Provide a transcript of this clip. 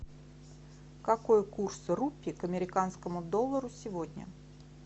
какой курс рупии к американскому доллару сегодня